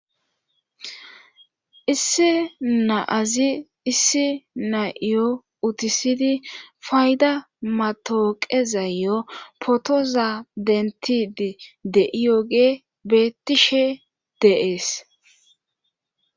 issi naazi issi na7iyo utisydi fayda matooqe zayyo potoza dentidi de7iyooge betishe dee'es